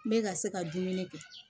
Bɛ ka se ka dumuni kɛ